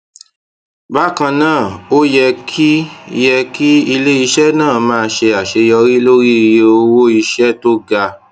bákan náà ó yẹ kí yẹ kí iléiṣẹ náà máa ṣe àṣeyọrí lórí iye owó iṣé tó ga